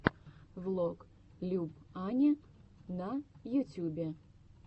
влог люб ани на ютюбе